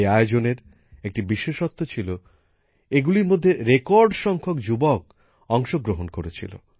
এই আয়োজনের একটি বিশেষত্ব ছিল এইগুলির মধ্যে রেকর্ড সংখ্যক যুবক অংশগ্রহণ করেছিল